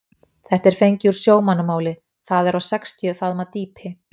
Þetta er fengið úr sjómannamáli, það er á sextíu faðma dýpi.